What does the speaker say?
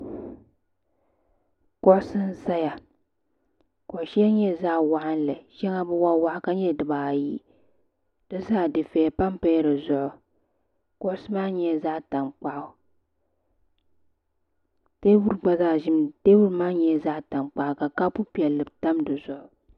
Kuɣusi n zaya kuɣu sheli nyɛla zaɣa waɣinli sheŋa bi waɣa waɣa ka nyɛ dibaayi di zaa dufeya pamapa la dizuɣu kuɣusi maa nyɛla zaɣa tankpaɣu teebuli gba zaa ʒimi teebuli maa gba nyɛla zaɣa tankpaɣu kapu piɛlli tam dizuɣu.